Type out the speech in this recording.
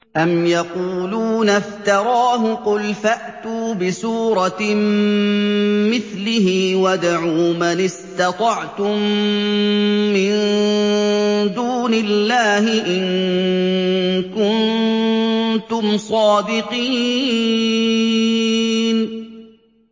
أَمْ يَقُولُونَ افْتَرَاهُ ۖ قُلْ فَأْتُوا بِسُورَةٍ مِّثْلِهِ وَادْعُوا مَنِ اسْتَطَعْتُم مِّن دُونِ اللَّهِ إِن كُنتُمْ صَادِقِينَ